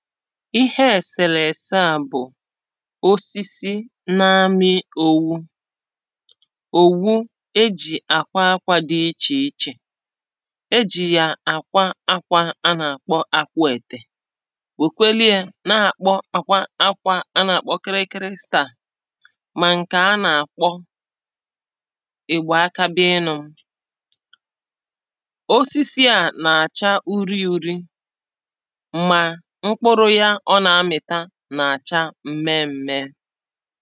Íhẹ ẹ̀sẹ̀lẹ̀sẹ à bụ̀ osisi na-amị̄ owu Òwu ejì àkwa akwā dị ichè ichè E jì yà àkwa akwā á nà-àkpọ akwẹẹ̀tẹ̀ Wèkweli ē na-àkwa akwā á nà-àkpọ kịrịkịrị staà Mà ǹke á nà-àkpọ, ị̀gbà aka bịa ịnụ̄ m̄? Osisi à nà-àcha uri ūrī, mà mkpụrụ yā o nà-amị̀ta nà-àcha mmẹẹ m̄mẹ̄ẹ̄